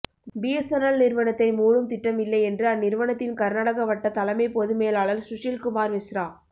BSNL நிறுவனத்தை மூடும் திட்டம் இல்லை என்று அந்நிறுவனத்தின் கா்நாடக வட்ட தலைமை பொதுமேலாளா் சுஷில்குமாா்மிஸ்ரா